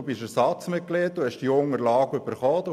Er ist Ersatzmitglied der SiK und hat die Unterlagen erhalten.